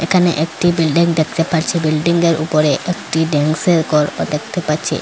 এখানে একটি বিল্ডিং দেখতে পারছি বিল্ডিংঙ্গের উপরে একটি ড্যান্সের ঘরও দেখতে পাচ্ছি।